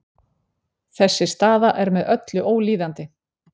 Þessi staða er með öllu ólíðandi